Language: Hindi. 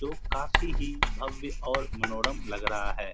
तो काफी ही भव्य और मनोरम लग रहा है।